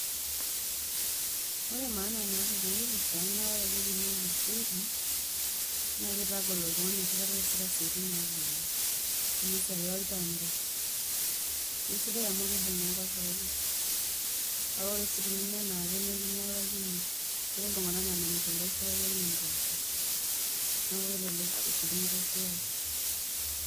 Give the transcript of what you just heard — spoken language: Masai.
Ore maana naata ena kipirta naa ore ake piinya orkeseri naa kitagol oltun g'ani enoshi kata iasita isiaiti naagol enaa esiai olchamba, kesidai amu kiibung' enkoshoke. Kake ore teninya enaake naa akinyialakino. Ketii iltung'anak laa menyorr inkoishuak enye impoosho. Neeku elelek etirru inkoshuak.